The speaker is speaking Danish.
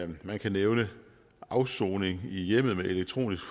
man kan nævne afsoning i hjemmet med elektronisk